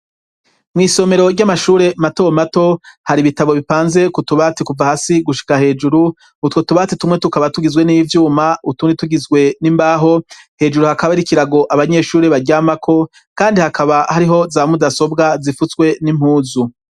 Mw'isomero ry'amashuri mato mato hari ibitabo bipanze ku tubati kuva hasi gushika hejuru; utwo tubati tumwe tukaba tugizwe n'ivyuma, utundi tugizwe n'imbaho. Hejuru hakaba hari ikirago abanyeshuri baryamako, kandi hakaba hariho za mudasobwa zifutswe n'impuzu.